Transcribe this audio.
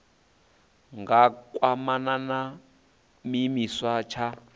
nga kwamana na tshiimiswa tsha